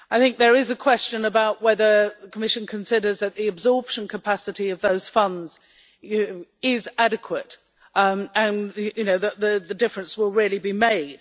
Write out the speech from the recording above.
There is a question about whether the Commission considers that the absorption capacity of those funds is adequate and the difference will really be made.